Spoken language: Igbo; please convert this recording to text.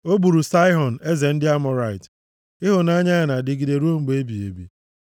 O gburu Saịhọn eze ndị Amọrait, Ịhụnanya ya na-adịgide ruo mgbe ebighị ebi.